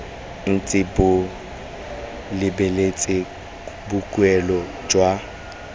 ntse bo lebeletse boikuelo jwa